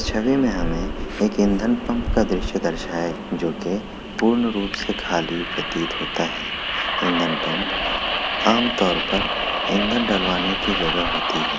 छबि मैं हमे एक ईधन पम्प का द्रश्य दर्शाया जो की पूर्ण रूप से खाली प्रतीत होता है ईधन पम्प आम तोर पर ईंधन डलवाने की जगह होती है।